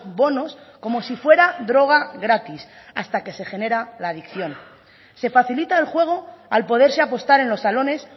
bonos como si fuera droga gratis hasta que se genera la adicción se facilita el juego al poderse apostar en los salones